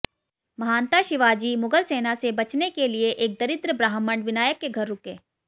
महानता शिवाजी मुगल सेना से बचने के लिए एक दरिद्र ब्राह्मण विनायक के घर रुके